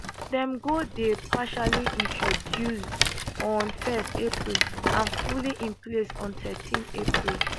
dem go dey partially introduced on 1 april and fully in place on thirteen april